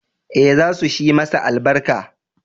Ee, za su shi masa albarka